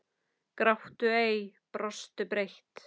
Gráttu ei. brostu breitt.